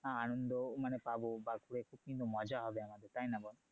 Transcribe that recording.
আনন্দ মানে পাবো বা ঘুরে এসে কিন্তু মজা হবে আমাদের তাইনা বল